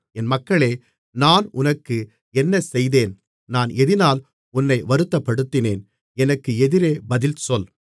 என் மக்களே நான் உனக்கு என்ன செய்தேன் நான் எதினால் உன்னை வருத்தப்படுத்தினேன் எனக்கு எதிரே பதில் சொல்